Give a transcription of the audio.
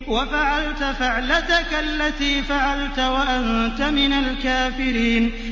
وَفَعَلْتَ فَعْلَتَكَ الَّتِي فَعَلْتَ وَأَنتَ مِنَ الْكَافِرِينَ